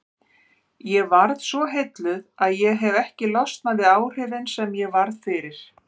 Ég varð svo heilluð að ég hefi ekki losnað við áhrifin sem ég varð fyrir.